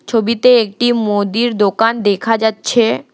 ছবিতে একটি মোদির দোকান দেখা যাচ্ছে।